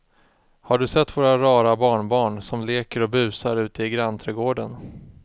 Har du sett våra rara barnbarn som leker och busar ute i grannträdgården!